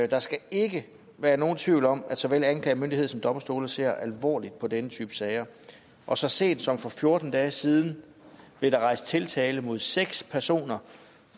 der skal ikke være nogen tvivl om at såvel anklagemyndighed som domstole ser alvorligt på denne type sager og så sent som for fjorten dage siden blev der rejst tiltale mod seks personer